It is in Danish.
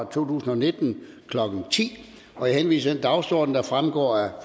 tusind og nitten klokken ti jeg henviser til den dagsorden der fremgår af